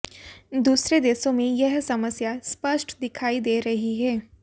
दूसरे देशों में यह समस्या स्पष्ट दिखाई दे रही है